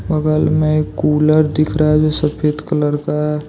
बगल में एक कूलर दिख रहा है जो सफेद कलर का है।